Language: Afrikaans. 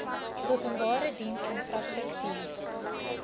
openbare diens infrastruktuur